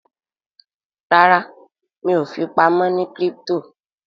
ràrá mi'o fipamọ ní crypto.